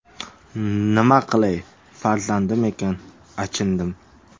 Nima qilay, farzandim ekan, achindim.